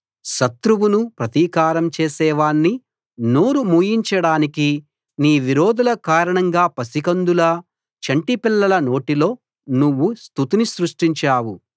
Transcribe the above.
శత్రువునూ ప్రతీకారం చేసేవాణ్ణీ నోరు మూయించడానికీ నీ విరోధుల కారణంగా పసికందుల చంటి పిల్లల నోటిలో నువ్వు స్తుతిని సృష్టించావు